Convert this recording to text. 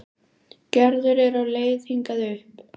Gerður er á leið hingað upp.